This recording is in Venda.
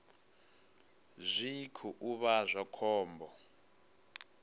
zwi khou vha zwa khombo